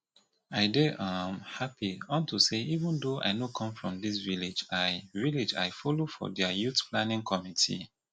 i dey um happy unto say even though i no come from dis village i village i follow for their youth planning committee